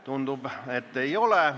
Tundub, et ei ole.